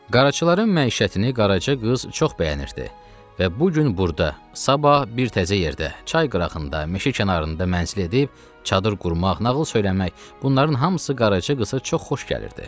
Qaraçıların məişətini qaraçı qız çox bəyənirdi və bu gün burada, sabah bir təzə yerdə, çay qırağında, meşə kənarında mənzil edib çadır qurmaq, nağıl söyləmək, bunların hamısı qaraçı qıza çox xoş gəlirdi.